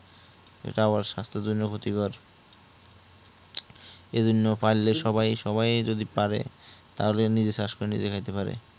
ইটা আবার স্বাস্থ্যের জন্য ক্ষতিকর এই জন্য পারলে পারলে সবাই যদি পারে তো নিজে চাষ করে নিজে খাইতে পারে